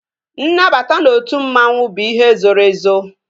Nnabata n'otu mmanwu bụ ihe zoro ezo